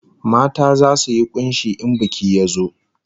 Mata zasu yi kunshi in biki ya zo